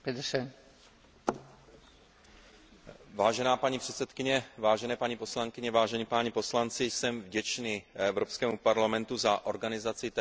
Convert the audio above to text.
Vážená paní předsedkyně, vážené paní poslankyně, vážení páni poslanci, jsem vděčný Evropskému parlamentu za organizaci této důležité diskuse dnes odpoledne.